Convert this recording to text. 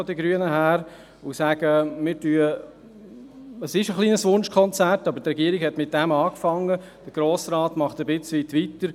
Es ist ein wenig ein Wunschkonzert, aber die Regierung hat damit angefangen, und der Grosse Rat macht in bestimmter Weise weiter.